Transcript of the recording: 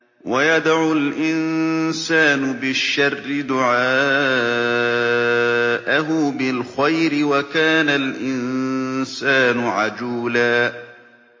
وَيَدْعُ الْإِنسَانُ بِالشَّرِّ دُعَاءَهُ بِالْخَيْرِ ۖ وَكَانَ الْإِنسَانُ عَجُولًا